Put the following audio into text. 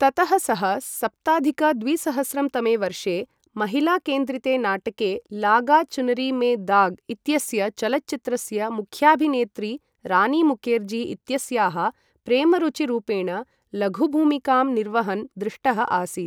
ततः सः सप्ताधिक द्विसहस्रं तमे वर्षे महिलाकेन्द्रिते नाटके लागा चुनरी में दाग् इत्यस्य चलच्चित्रस्य मुख्याभिनेत्री रानी मुकेर्जी इत्यस्याः प्रेमरुचिरूपेण लघुभूमिकां निर्वहन् दृष्टः आसीत्।